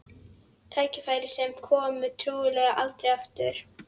Tækifæri sem komi trúlega aldrei aftur.